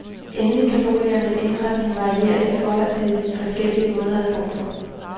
Endelig kan boligernes indretning varieres i forhold til forskellige måder at bo på.